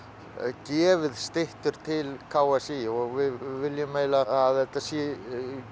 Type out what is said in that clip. gefið styttur til k s í og við viljum að þetta sé